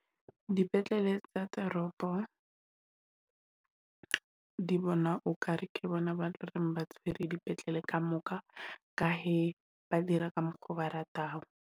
Dipetlele tsa toropo di bona okare ke bona ba loreng ba tshwere dipetlele ka moka. Ka he, ba dira ka mokgo, ba ratang.